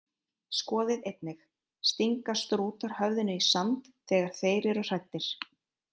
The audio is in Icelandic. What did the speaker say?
Skoðið einnig: Stinga strútar höfðinu í sand þegar þeir eru hræddir?